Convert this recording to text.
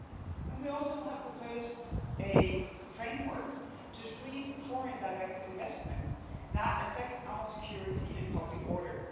And we also have proposed a framework to screen foreign direct investment that affects our security and public order.